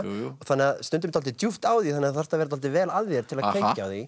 þannig að stundum er dálítið djúpt á því þannig að þú þarft að vera dálítið vel að þér til að tengja